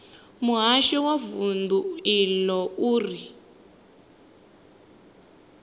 muhasho wa vundu iḽo uri